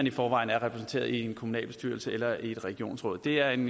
i forvejen er repræsenteret i en kommunalbestyrelse eller et regionsråd det er en